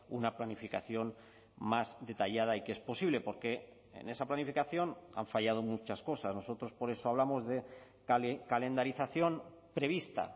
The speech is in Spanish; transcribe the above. una planificación más detallada y que es posible porque en esa planificación han fallado muchas cosas nosotros por eso hablamos de calendarización prevista